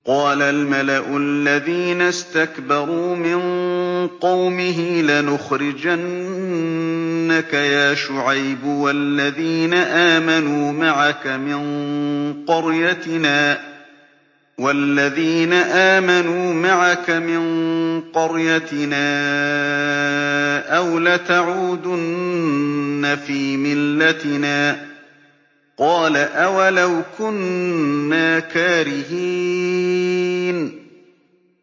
۞ قَالَ الْمَلَأُ الَّذِينَ اسْتَكْبَرُوا مِن قَوْمِهِ لَنُخْرِجَنَّكَ يَا شُعَيْبُ وَالَّذِينَ آمَنُوا مَعَكَ مِن قَرْيَتِنَا أَوْ لَتَعُودُنَّ فِي مِلَّتِنَا ۚ قَالَ أَوَلَوْ كُنَّا كَارِهِينَ